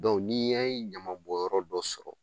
n'i ye ɲamabɔnyɔrɔ dɔ sɔrɔ